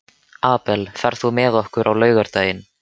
Abel, ferð þú með okkur á laugardaginn?